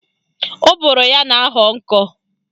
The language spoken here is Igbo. Ụbụrụ ya na-ahọ nkọ